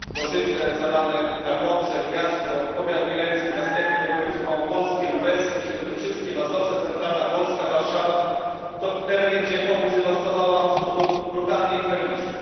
Zalane zostały Gorzyce, Tarnobrzeg, Jasło, powiat mielecki, następnie województwo małopolskie, lubelskie, świętokrzyskie, Mazowsze, centralna Polska, Warszawa to tereny, gdzie powódź dewastowała w sposób brutalny i tragiczny.